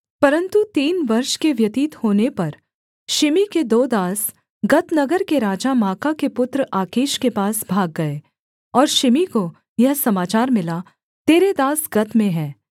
परन्तु तीन वर्ष के व्यतीत होने पर शिमी के दो दास गत नगर के राजा माका के पुत्र आकीश के पास भाग गए और शिमी को यह समाचार मिला तेरे दास गत में हैं